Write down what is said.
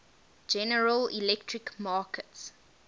general electric markets